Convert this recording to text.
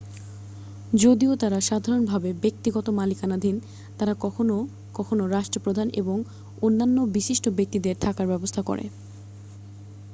যদিও তারা সাধারণভাবে ব্যক্তিগত মালিকানাধীন তারা কখনও কখনও রাষ্ট্রপ্রধান এবং অন্যান্য বিশিষ্ট ব্যক্তিদের থাকার ব্যবস্থা করে